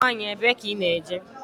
Nwanyi ebee ka I ná-eje?